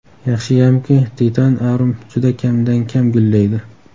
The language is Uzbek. Yaxshiyamki, Titan Arum juda kamdan kam gullaydi.